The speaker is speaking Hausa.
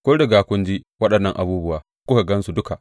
Kun riga kun ji waɗannan abubuwa; kuka gan su duka.